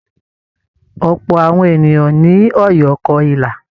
Ọ̀pọ̀ àwọn ènìyàn ní Ọ̀yọ́ kọ ilà.